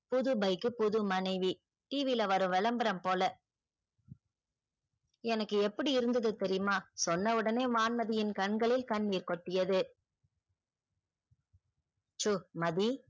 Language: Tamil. புது bike புது மனைவி tv ல வரும் விளம்பரம் போல எனக்கு எப்படி இருந்தது தெரியுமா? சொன்ன உடனே வான்மதியின் கண்களில் கண்ணீர் கொட்டியது. சுமதி